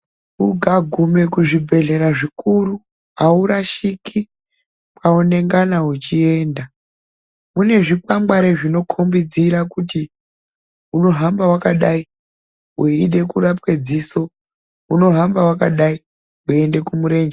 Ukaguma kuzvibhedhlera zvikuru haurashiki kwaunongana uchienda kune zvikwangwari zvinokombidza kuti unohamba wakadai weida kurapwa dziso unohamba wakadai weienda kumurenje.